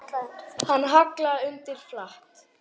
Hann hallaði undir flatt.